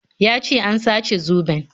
Ya ce an sace zoben